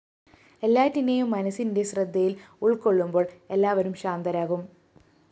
എല്ലാറ്റിനെയും മനസ്സിന്റെ ശ്രദ്ധയില്‍ ഉള്‍ക്കൊള്ളുമ്പോള്‍ എല്ലാവരും ശാന്തരാകും